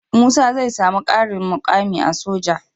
Musa zai samu karin mukami a soja